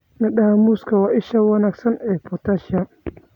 Midhaha muuska waa isha wanaagsan ee potassium.